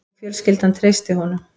Og fjölskyldan treysti honum